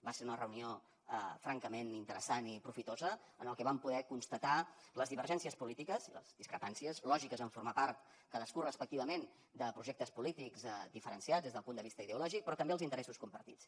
va ser una reunió francament interessant i profitosa en la que vam poder constatar les divergències polítiques i les discrepàncies lògiques en formar part cadascú respectivament de projectes polítics diferenciats des del punt de vista ideològic però també els interessos compartits